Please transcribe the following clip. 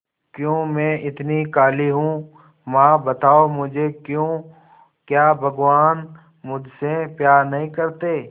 क्यों मैं इतनी काली हूं मां बताओ मुझे क्यों क्या भगवान मुझसे प्यार नहीं करते